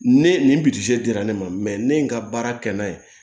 Ne nin bidi dira ne ma ne ye n ka baara kɛ n'a ye